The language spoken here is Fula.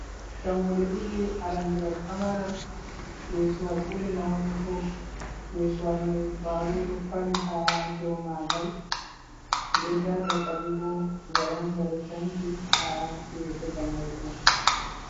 Dammuɗe ɗiɗi arandewal pamaral yesuwal ɓuri maunugo yesuwal mai kwaɗo ɗo fali ha dou magal den nda dakalibo waranda ɗo tanki ha yeso dammuɗe mai.